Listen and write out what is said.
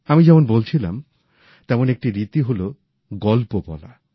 আমি যেমন বলছিলাম তেমন একটি রীতি হলো গল্প বলা